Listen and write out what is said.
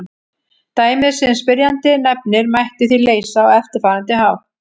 Dæmið sem spyrjandi nefnir mætti því leysa á eftirfarandi hátt.